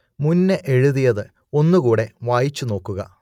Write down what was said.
മുന്ന് എഴുതിയത് ഒന്നു കൂടെ വായിച്ചു നോക്കുക